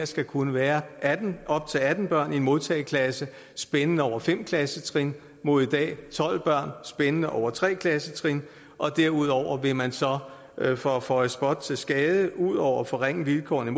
skal kunne være op til atten børn i en modtageklasse spændende over fem klassetrin mod i dag tolv børn spændende over tre klassetrin og derudover vil man så for at føje spot til skade ud over at forringe vilkårene